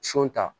Son ta